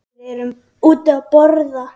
Við erum úti að borða.